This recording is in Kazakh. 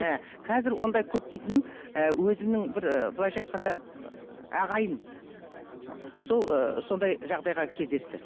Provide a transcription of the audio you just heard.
ы қазір ондай көп дейтінім ы өзімнің бір былайша айтқанда ағайын ы сол сондай жағдайға кездесті